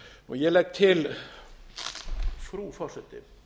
ég legg til frú forseti